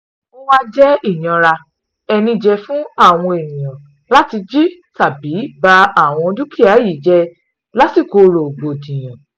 ó wàá jẹ́ ìyànra-ẹni jẹ́ fún àwọn èèyàn láti jí tàbí ba àwọn dúkìá yìí jẹ́ lásìkò rògbòdìyàn